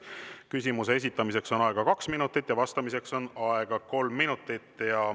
Küsimuse esitamiseks on aega kaks minutit, vastamiseks on aega kolm minutit.